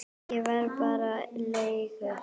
Ég var bara leigu